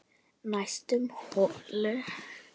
Næstur holu